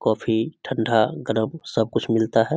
Coffee ठंडा गर्म सब कुछ मिलता है।